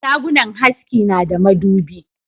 Shagunnan haski na da madubi